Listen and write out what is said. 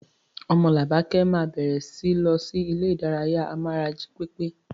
Omolabake máa bẹ̀rẹ̀ síi lọ sí ilé ìdárayá amára jí pépé.